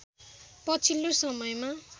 पछिल्लो समयमा